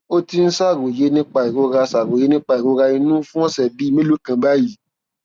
ó ti ń ṣàròyé nípa ìrora ṣàròyé nípa ìrora inú fún ọsẹ bíi mélòó kan báyìí